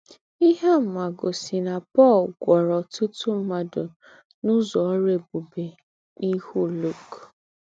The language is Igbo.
Íhe àmà gósì ná Pọ̀l gwúọ̀rọ̀ ọ́tùtù m̀ádụ́ n’ụ́zọ̀ ọ́rụ́ ébùbè n’íhú Luk.